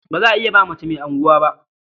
Ba za iya ba mace mai unguwa ba.